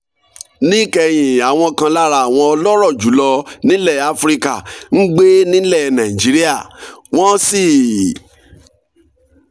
níkẹyìn àwọn kan lára àwọn ọlọ́rọ̀ jù lọ nílẹ̀ áfíríkà ń gbé nílẹ̀ nàìjíríà wọ́n sì